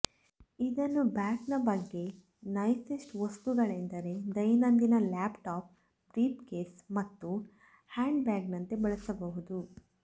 ಇದನ್ನು ಬ್ಯಾಗ್ನ ಬಗ್ಗೆ ನೈಸೆಸ್ಟ್ ವಸ್ತುಗಳೆಂದರೆ ದೈನಂದಿನ ಲ್ಯಾಪ್ಟಾಪ್ ಬ್ರೀಫ್ಕೇಸ್ ಮತ್ತು ಹ್ಯಾಂಡ್ಬ್ಯಾಗ್ನಂತೆ ಬಳಸಬಹುದು